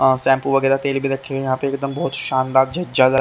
shampoo वगेरा तेल भी रखे हुए हे या पे बहोत सानदार जग-जागण--